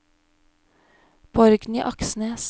Borgny Aksnes